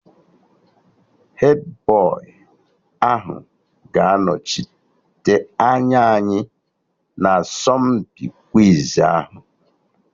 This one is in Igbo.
Hedbọyị ahụ ga-anọchite anya anyị na asọmpi kwiz ahụ